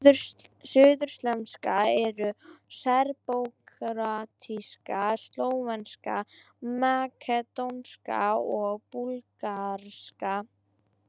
Suðurslavnesk eru: serbókróatíska, slóvenska, makedónska og búlgarska.